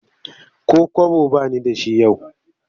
Ko kwabo ba ni da shi yau